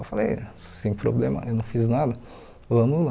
Eu falei, sem problema, eu não fiz nada, vamos lá.